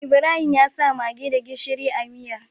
Ibrahim yasa maggi da gishiri a miyar